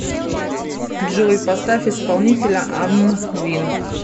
джой поставь исполнителя амвин